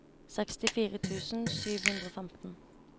sekstifire tusen sju hundre og femten